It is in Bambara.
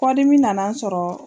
Kɔdimi nana n sɔrɔ.